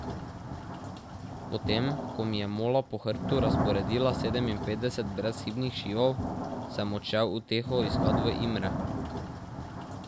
Potem ko mi je Mola po hrbtu razporedila sedeminpetdeset brezhibnih šivov, sem odšel uteho iskat v Imre.